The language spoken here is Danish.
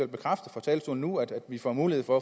bekræfte fra talerstolen nu at vi får mulighed for